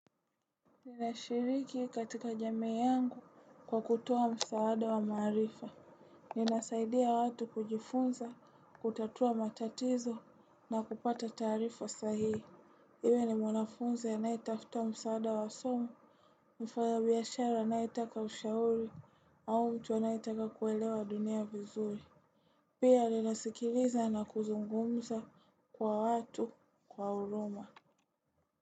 Ninashiriki katika jamii yangu kwa kutoa msaada wa marifa. Ninasaidia watu kujifunza, kutatua matatizo na kupata taarifa sahihi. Iwe ni mwanafunzi anayetafuta msaada wa somo, mfanya biashara anayetaka ushauri au mtu anayetaka kuelewa dunia vizuri. Pia linasikiliza na kuzungumza kwa watu kwa huruma.